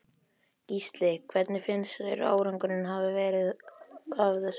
Gísli: Hvernig finnst þér árangurinn hafa verið af þessu?